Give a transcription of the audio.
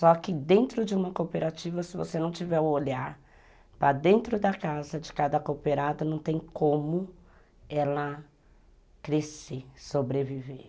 Só que dentro de uma cooperativa, se você não tiver o olhar para dentro da casa de cada cooperada, não tem como ela crescer, sobreviver.